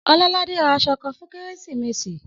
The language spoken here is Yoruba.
Ọlọ́ládé ra aṣọ kan fún Kérésìmesì.